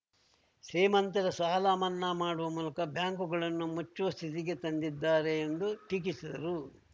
ಶ್ರೀಮಂತರ ಸಾಲ ಮನ್ನಾ ಮಾಡುವ ಮೂಲಕ ಬ್ಯಾಂಕುಗಳನ್ನು ಮುಚ್ಚುವ ಸ್ಥಿತಿಗೆ ತಂದಿದ್ದಾರೆ ಎಂದು ಟೀಕಿಸಿದರು